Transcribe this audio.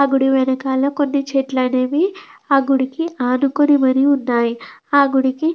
ఆ గుడి వెనకాల కొన్ని చెట్లు అనేవి ఆ గుడికి ఆనుకొని మరి ఉన్నాయి. ఆ గుడికి --